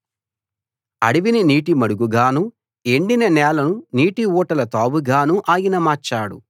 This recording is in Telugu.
అడివిని నీటిమడుగుగాను ఎండిన నేలను నీటి ఊటల తావుగాను ఆయన మార్చాడు